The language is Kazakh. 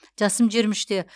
жасым жиырма үште